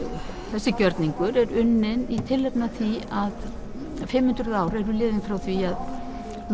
þessi gjörningur er unnin í tilefni af því að fimm hundruð ár eru liðin frá því að